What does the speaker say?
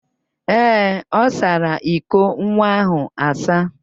Ee, ọ sara iko nwa ahụ asa.